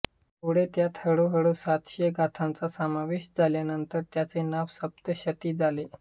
पुढे त्यांत हळूहळू सातशे गाथांचा समावेश झाल्यानंतर त्याचे नाव सप्तशती झाले